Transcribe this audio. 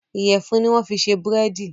Iyẹ̀fun ni wọ́n fi ṣe búrèdì